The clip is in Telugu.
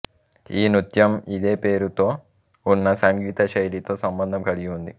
ఈ నృత్యం ఇదే పేరుతో ఉన్న సంగీత శైలితో సంబంధం కలిగి ఉంది